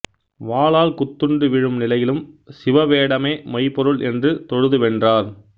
வாளால் குத்துண்டு வீழும் நிலையிலும் சிவவேடமே மெய்பொருள் என்று தொழுதுவென்றார்